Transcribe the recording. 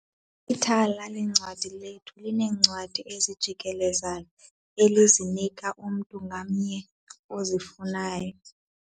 Ithala leencwadi lethu lineencwadi ezijikelezayo elizinika umntu ngamnye ozifunayo.